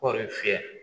Kɔɔri fiyɛ